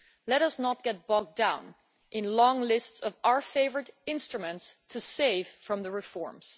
Let us not get bogged down in long lists of our favourite instruments to save from the reforms.